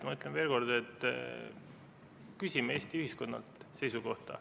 Ma ütlen veel kord, et me küsime Eesti ühiskonnalt seisukohta.